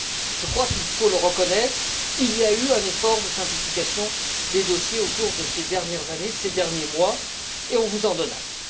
Je crois qu'il faut le reconnaître, il y a eu un effort de simplification des dossiers au cours de ces dernières années, de ces derniers mois, et on vous en donne acte.